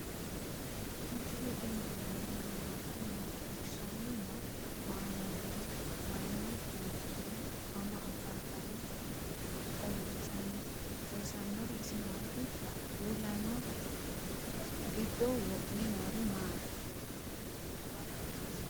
misile tini alenni nooti maa leelishanni noo? maa amadinno? Maayinni loonisoonni? mama affanttanno? xawisanori isi maati? uulaanna giddo wo'me noori maari?